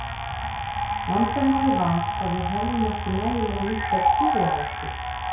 Vandamálið var að við höfðum ekki nægilega mikla trú á okkur.